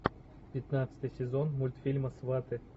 пятнадцатый сезон мультфильма сваты